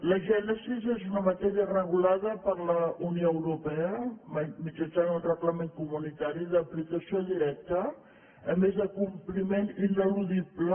la gènesi és una matèria regulada per la unió europea mitjançant un reglament comunitari d’aplicació directa a més de compliment ineludible